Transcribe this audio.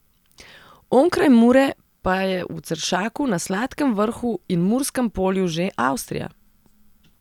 Onkraj Mure pa je v Ceršaku, na Sladkem Vrhu in Murskem polju že Avstrija.